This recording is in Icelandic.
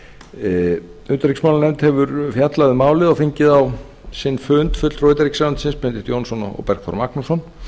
utanríkismálanefnd hefur fjallað um málið og fengið á sinn fund fulltrúa utanríkisráðuneytisins benedikt jónsson og bergþór magnússon